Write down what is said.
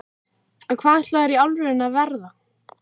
en hvað ætlarðu í alvörunni að verða?